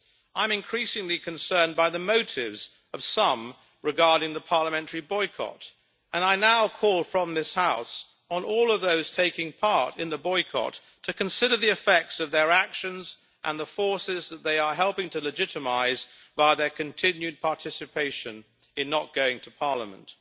I am increasingly concerned by the motives of some regarding the parliamentary boycott, and I now call from this House on all of those taking part in the boycott to consider the effects of their actions and the forces that they are helping to legitimise by their continued participation in not going to parliament.